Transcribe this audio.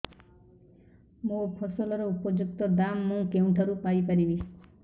ମୋ ଫସଲର ଉପଯୁକ୍ତ ଦାମ୍ ମୁଁ କେଉଁଠାରୁ ପାଇ ପାରିବି